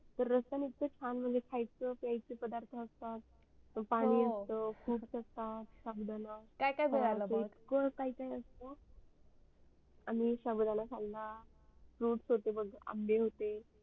तर रस्त्यान इतक छान मस्त खायचे प्याचे पदार्थ असतात पाणी अस्त खूप fruits असतात शाबुदाणा असतात काय काय मिडाळ मग आम्ही साबुदाणा खाल्ला fruits होते मग आंबे होते